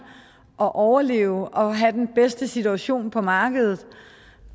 at overleve og have den bedste situation på markedet